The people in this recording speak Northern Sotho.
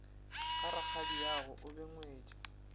ga rakgadiago o be ngwetši